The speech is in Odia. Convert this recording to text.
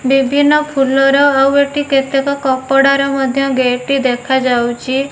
ବିଭିନ୍ନ ଫୁଲର ଆଉ ଏଠି କେତେକ କପଡାର ମଧ୍ୟ ଗେଟ ଟି ଦେଖା ଯାଇଚି।